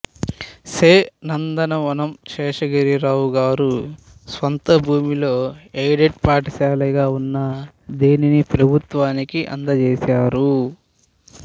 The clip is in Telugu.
శే నందనవనం శేషగిరిరావు గారు స్వంత భూమిలో ఎయిడెడ్ పాఠశాలగా ఉన్న దీనిని ప్రభుత్వానికి అందజేశారు